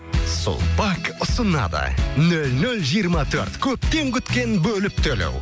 сулпак ұсынады нөл нөл жиырма төрт көптен күткен бөліп төлеу